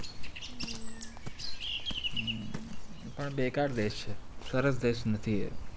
પણ બેકાર દેશ છે સરસ દેશ નથી એ